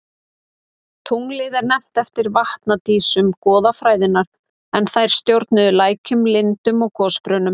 Tunglið er nefnt eftir vatnadísum goðafræðinnar en þær stjórnuðu lækjum, lindum og gosbrunnum.